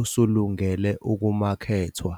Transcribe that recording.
usulungele ukumakethwa.